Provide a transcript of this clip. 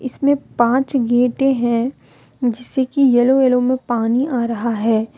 इसमें पांच गेट हैं जिसे कि येलो येलो में पानी आ रहा है।